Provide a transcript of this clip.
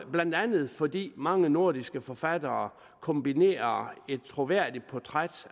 blandt andet fordi mange nordiske forfattere kombinerer et troværdigt portræt